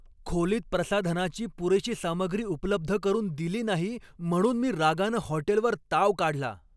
खोलीत प्रसाधनाची पुरेशी सामग्री उपलब्ध करून दिली नाही म्हणून मी रागानं हॉटेलवर ताव काढला.